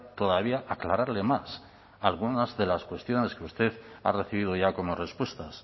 todavía aclararle más algunas de las cuestiones que usted ha recibido ya como respuestas